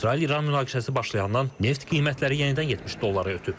İsrail-İran münaqişəsi başlayandan neft qiymətləri yenidən 70 dollara ötüb.